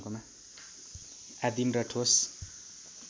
आदिम र ठोस